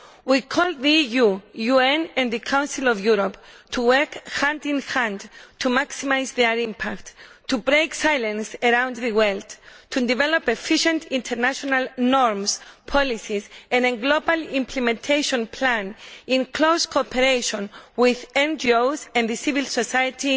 We call on the EU, the UN and the Council of Europe to work hand in hand to maximise their impact, to break the silence around the world, and to develop efficient international norms, policies and a global implementation plan, in close cooperation with NGOs and civil society,